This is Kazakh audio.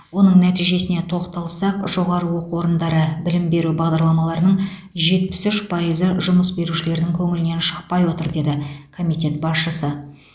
оның нәтижесіне тоқталсақ жоғары оқу орындары білім беру бағдарламаларының жетпіс үш пайызы жұмыс берушілердің көңілінен шықпай отыр деді комитет басшысы